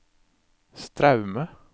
Straume